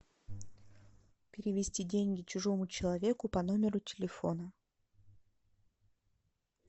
перевести деньги чужому человеку по номеру телефона